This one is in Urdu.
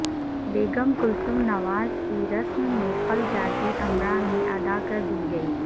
بیگم کلثوم نوازکی رسم قل جاتی امراء میں ادا کردی گئی